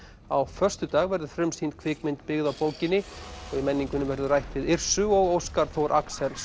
á föstudaginn verður frumsýnd kvikmynd byggð á bókinni og í menningunni verður rætt við Yrsu og Óskar Þór Axelsson